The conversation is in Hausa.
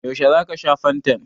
Yaushe za ka sha fantan?